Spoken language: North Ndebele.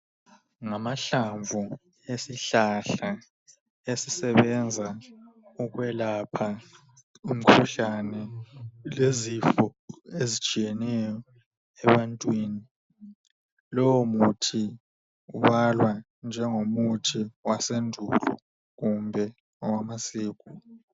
Ngamahlamvu esihlahla asebenza ukwelapha umkhuhlane lezifo ezitshiyeneyo ebantwini. Lo muthi ubalwa njengomuthi wasendulo.